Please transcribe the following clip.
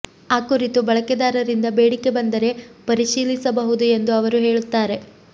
ಆ ಕುರಿತು ಬಳಕೆದಾರರಿಂದ ಬೇಡಿಕೆ ಬಂದರೆ ಪರಿಶೀಲಿಸಬಹುದು ಎಂದು ಅವರು ಹೇಳುತ್ತಾರೆ